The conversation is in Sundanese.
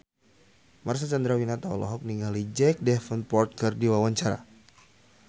Marcel Chandrawinata olohok ningali Jack Davenport keur diwawancara